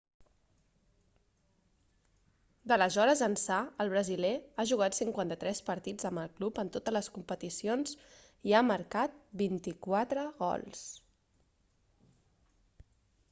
d'aleshores ençà el brasiler ha jugat 53 partits amb el club en totes les competicions i ha marcat 24 gols